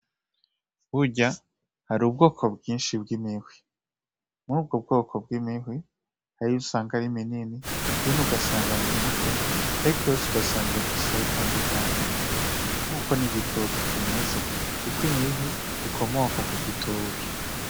Har'ubwoko bwinshi bw'imihwi mur'ubwo bwoko bw'imihwi: hariyo usanga ari minini ,ugasanga ni mito ariko yose ugasanga irafise aho itandukaniye, nkuko n'igitoki kimeze niko n'imihwi imeze ikomoka kugitoki.